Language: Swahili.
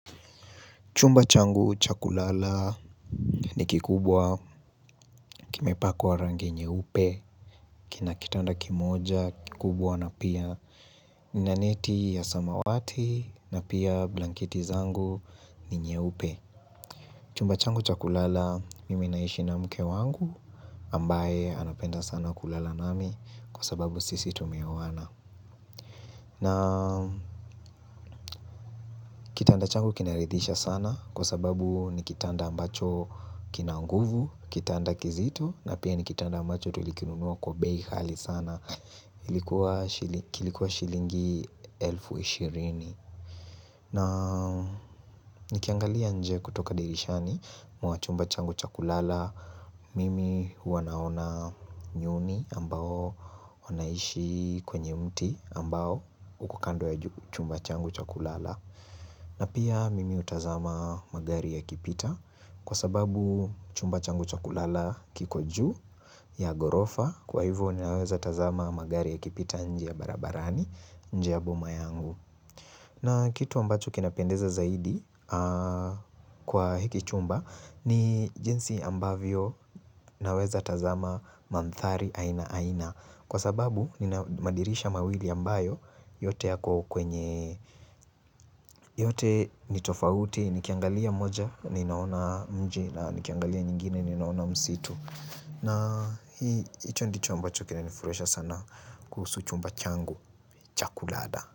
Chumba changu cha kulala ni kikubwa, kimepakwa rangi nyeupe, kina kitanda kimoja, kikubwa na pia nina neti ya samawati na pia blanketi zangu ni nyeupe. Chumba changu chakulala mime naishi na mke wangu ambaye anapenda sana kulala nami kwa sababu sisi tumewana. Na kitanda changu kinaridhisha sana kwa sababu ni kitanda ambacho kina nguvu, kitanda kizito na pia ni kitanda ambacho tulikinunua kwa bei ghali sana. Ilikuwa shilingi elfu ishirini. Na nikiangalia nje kutoka dirishani mwa chumba changu cha kulala. Mimi wanaona nyuni ambao unaishi kwenye mti ambao ukukando ya chumba changu cha kulala. Na pia mimi utazama magari yakipita kwa sababu chumba changu cha kulala kiko juu ya ghorofa kwa hivyo ni naweza tazama magari ya kipita njia barabarani njia boma yangu. Na kitu ambacho kinapendeza zaidi kwa hiki chumba ni jinsi ambavyo naweza tazama mandhari aina aina Kwa sababu ninamadirisha mawili ambayo yote yako kwenye yote ni tofauti nikiangalia moja ninaona mji na nikiangalia nyingine ninaona msitu na hii ito ndicho ambacho kinanifurahisha sana kuhusu chumba changu cha kulada.